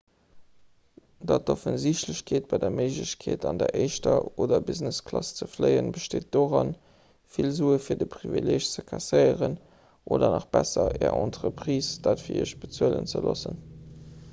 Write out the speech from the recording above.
dat offensichtlecht bei der méiglechkeet an der éischter oder business-klass ze fléien besteet doran vill sue fir de privileeg ze kasséieren oder nach besser är entreprise dat fir iech bezuelen ze loossen